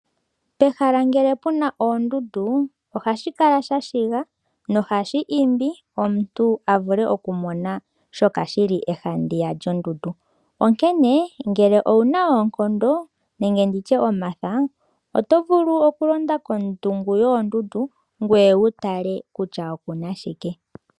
Pehala ngele puna oondundu ohashi kala shashiga nohashi kelele omuntu oku mona shoka shili haandiya lyondundu. Onkene ngele owuna oonkondo nenge nditye omatha oto vulu okulonda kohulo yoondundu ngoye wutale kutya okuna shike.